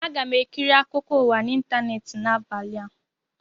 Aga m ekiri akụkọ ụwa na ịntaneetị n'abalị a